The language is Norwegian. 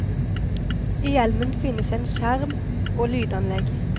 I hjelmen finnes en skjerm og lydanlegg.